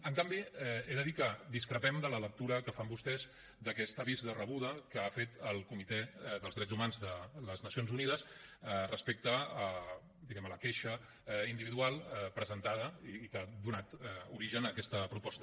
en canvi he de dir que discrepem de la lectura que fan vostès d’aquest avís de rebuda que ha fet el comitè de drets humans de les nacions unides respecte a diguem ne la queixa individual presentada i que ha donat origen a aquesta proposta